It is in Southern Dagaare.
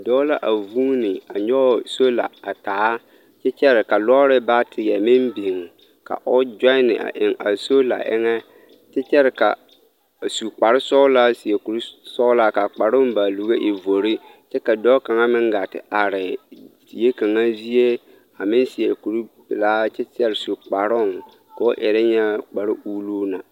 Dɔɔ la a vuuni a nyɔge sola a taa kyɛ kyɛre ka lɔɔre baateɛ meŋ biŋ ka o gyonne a eŋ a sola eŋɛ kyɛ kyɛre ka a su kpare sɔgelaa a seɛ kuri sɔgelaa ka a kparoŋ baaluri e vori kyɛ ka dɔɔ kaŋa meŋ gaa te are die kaŋa zie ameŋ seɛ kuri pelaa kyɛ kyɛre su kparoŋ k'o erɛ nyɛ kpare uluu na.